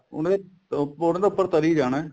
ਉਹਨੇ ਕੇ ਉਹਨੇ ਤਾਂ ਉੱਪਰ ਤਰੀ ਜਾਣਾ